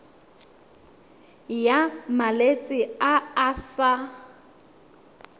ya malwetse a a sa